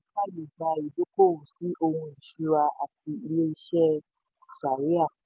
àkójọ owó yìí fàyè gba ìdókòwò sí ohun ìṣúra àti ilé iṣẹ́ shari'ah.